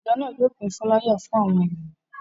Ìjọ náà yóò pín fúláyà fún àwọn ènìyàn.